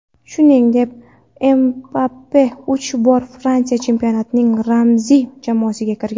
Shuningdek, Mbappe uch bor Fransiya chempionatining ramziy jamoasiga kirgan.